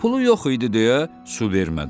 Pulu yox idi deyə su vermədilər.